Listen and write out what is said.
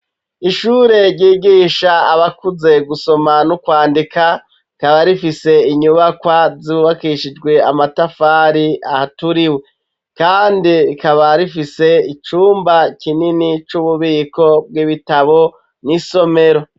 Ishure ryigisha abakuze gusoma nokwandika rikaba rifise inyubakwa zububakishijwe amatafari ahaturiwe kandi rikaba rifise icumba kinini c'ububiko bw'ibitabo n'isomero.